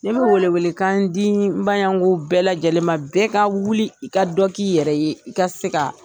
Nin bɛ wele wele kan di n bayango bɛɛ lajɛlen bɛɛ ka wuli i ka dɔ k'i yɛrɛ ye i ka se ka